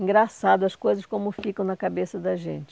Engraçado, as coisas como ficam na cabeça da gente.